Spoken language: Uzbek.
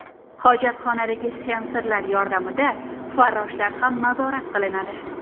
Hojatxonadagi sensorlar yordamida farroshlar ham nazorat qilinadi.